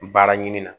Baara ɲini na